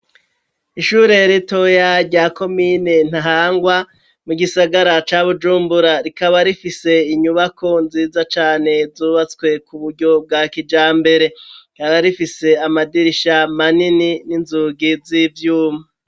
Ishure ritoya rya komine ntahangwa mu gisagara ca Bujumbura rikaba rifise inyubako nziza cane zubatswe ku buryo bwa kijambere rikaba rifise amadirisha manini n'inzugi z'ivyuma